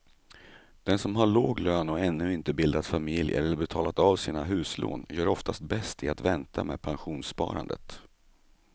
Den som har låg lön och ännu inte bildat familj eller betalat av sina huslån gör oftast bäst i att vänta med pensionssparandet.